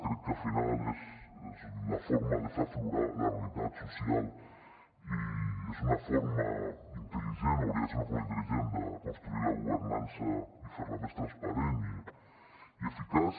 crec que al final és la forma de fer aflorar la realitat social i és una forma intel·ligent o hauria de ser una forma intel·ligent de construir la governança i fer la més transparent i eficaç